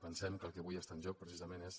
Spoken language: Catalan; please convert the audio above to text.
pensem que el que avui està en joc precisament és